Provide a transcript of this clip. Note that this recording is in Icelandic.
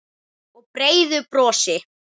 Og breiðu brosi.